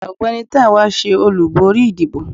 ọgbẹni Tánwa se olubori ìdíbò